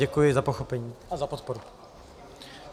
Děkuji za pochopení a za podporu.